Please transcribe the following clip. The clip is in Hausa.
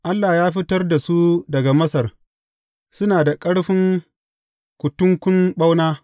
Allah ya fitar da su daga Masar; suna da ƙarfin kutunkun ɓauna.